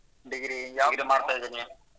Lang:Foreign Degree ಯಾವ್ದು ಮಾಡ್ತಾ ಇದೀರಿ.